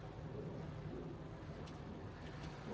Eu era ambicioso por causa de dinheiro.